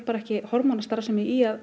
ekki hormónastarfsemi í að